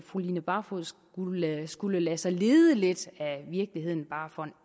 fru line barfod skulle lade skulle lade sig lede lidt af virkeligheden bare for en